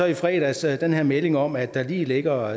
i fredags den her melding om at der lige ligger